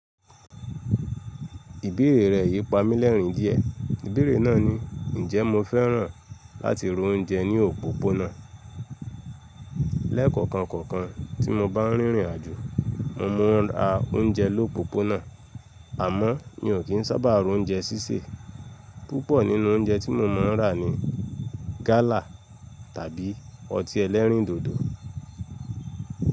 Ìbéèrè rẹ̀ yí pamí lẹ́rìn díẹ̀. Ìbéèrè náà ni, “Ǹjẹ́ mo fẹ́ràn láti ra oúnjẹ ní òpópónà?” Lẹ́ẹ̀kọ̀okankọ̀kàn tí mo bá ń rìnrìn àjò, mo máa ń ra oúnjẹ l’ópópónà, àmọ́ mi ò kí ń sábà ro oúnjẹ sísè. Púpọ̀ nínú oúnjẹ tí mo máa ń rà ni gálà tàbí ọtí ẹlẹ́rìndòdò.